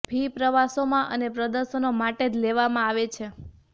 fee પ્રવાસોમાં અને પ્રદર્શનો માટે જ લેવામાં આવે છે